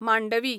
Mandovi